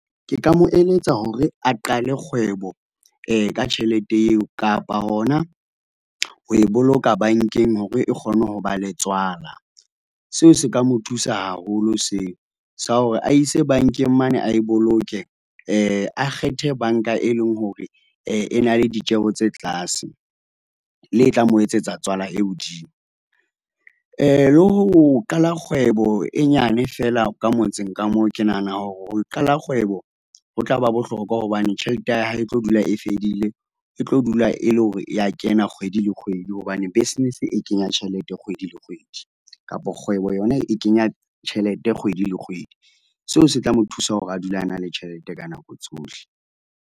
Ke ka mo eletsa hore a qale kgwebo ka tjhelete eo, kapa hona ho e boloka bankeng hore e kgone ho ba le tswala. Seo se ka mo thusa haholo seo, sa hore a ise bankeng mane a e boloke, a kgethe banka e leng hore, e na le ditjeho tse tlase, le e tla mo etsetsa tswala e hodimo. Le ho qala kgwebo e nyane feela ka motseng ka moo, ke nahana hore ho qala kgwebo, ho tla ba bohlokwa hobane tjhelete ya hae e tlo dula e fedile. E tlo dula e le hore e ya kenya kgwedi le kgwedi hobane business e kenya tjhelete kgwedi le kgwedi kapo kgwebo yona e kenya tjhelete kgwedi le kgwedi. Seo se tla mo thusa hore a dule a na le tjhelete ka nako tsohle.